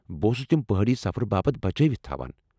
بہٕ اوسُس تِم پہٲڈی سفرٕ باپت بچٲوِتھ تھاوان ۔